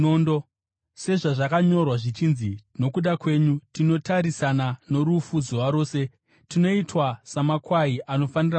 Sezvazvakanyorwa zvichinzi: “Nokuda kwenyu tinotarisana norufu zuva rose; tinoitwa samakwai anofanira kubayiwa.”